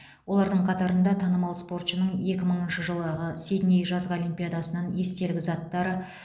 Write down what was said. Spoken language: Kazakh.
олардың қатарында танымал спортшының екі мыңыншы жылы сидней жазғы олимпиадасынан естелік заттары